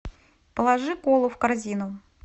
положи колу в корзину